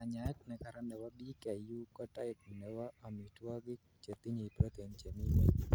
kanyaet nekaran nebo PKU ko diet nebo omitwogik chetinyei protein chemingweny